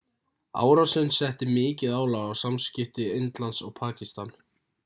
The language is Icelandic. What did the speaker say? árásin setti mikið álag á samskipti indlands og pakistan